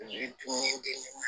tun ye dennin ye